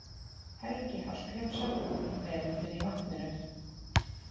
Helgi Hallgrímsson, Veröldin í vatninu.